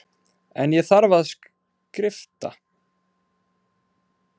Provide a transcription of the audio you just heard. En ég þarf að skrifta.